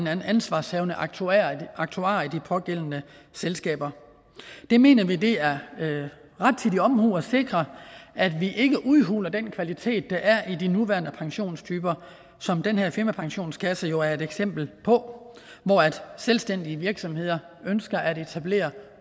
anden ansvarshavende aktuar aktuar i de pågældende selskaber vi mener det er rettidig omhu at sikre at vi ikke udhuler den kvalitet der er i de nuværende pensionstyper som den her firmapensionskasse jo er et eksempel på hvor selvstændige virksomheder ønsker at etablere